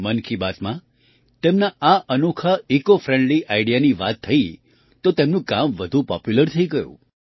મન કી બાતમાં તેમના આ અનોખા ઇસીઓ ફ્રેન્ડલી આઇડીઇએ ની વાત થઈ તો તેમનું કામ વધુ પોપ્યુલર થઈ ગયું